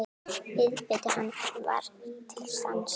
Viðbiti hann var til sanns.